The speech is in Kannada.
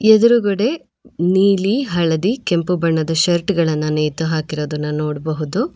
ಎದುರುಗಡೆ ನೀಲಿ ಹಳದಿ ಕೆಂಪು ಬಣ್ಣದ ಶರ್ಟ್ ಗಳನ್ನು ನೇತು ಹಾಕಿರೋದನ್ನ ನೋಡಬಹುದು.